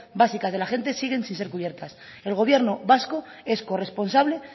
básicas de la gente siguen sin ser cubiertas el gobierno vasco es corresponsable